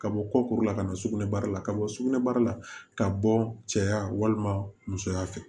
Ka bɔ kɔkoro la ka na sugunɛ bara la ka bɔ sugunɛbara la ka bɔ cɛya walima musoya fɛ